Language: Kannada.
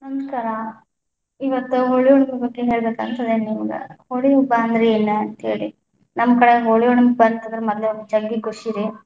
ನಮಸ್ಕಾರ, ಇವತ್ತ ಹೋಳಿ ಹುಣ್ಣಿಮೆ ಬಗ್ಗೆ ಹೇಳಬೇಕ ಅಂತ ಅದಿನಿಮ್ಗ, ಹೋಳಿ ಹಬ್ಬ ಅಂದ್ರ ಏನ ಅಂತ ಹೇಳಿ, ನಮ್ಮ ಕಡೆ ಹೋಳಿ ಹುಣ್ಣಿಮೆ ಬಂತಂದ್ರ ಮದ್ಲ ಜಗ್ಗಿ ಖುಷಿರಿ.